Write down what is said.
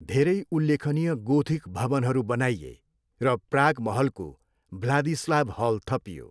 धेरै उल्लेखनीय गोथिक भवनहरू बनाइए र प्राग महलको भ्लादिस्लाव हल थपियो।